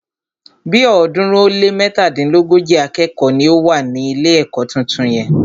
Bí ọ̀ọ́dúnrún ó lé mẹ́tàdínlógójì akẹ́kọ̀ọ́ ni ó wà ní ilé ẹ̀kọ́ tuntun yẹn.